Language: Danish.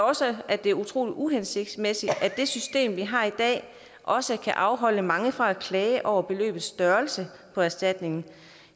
også at det er utrolig uhensigtsmæssigt at det system vi har i dag også kan afholde mange fra at klage over beløbets størrelse på erstatningen